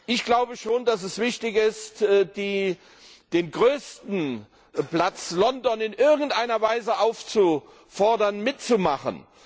Ich glaube schon, dass es wichtig ist, den größten Platz London in irgendeiner Weise aufzufordern, mitzumachen.